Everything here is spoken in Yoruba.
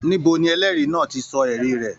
Níbo ní ẹlẹri náà tí sọ ẹrí rẹ?